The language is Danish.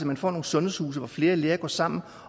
man får nogle sundhedshuse hvor flere læger går sammen